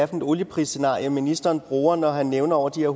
er for et olieprisscenarie ministeren bruger når han nævner de her